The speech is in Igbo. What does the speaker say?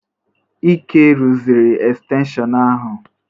Ike rụziri estenshịon ahụ?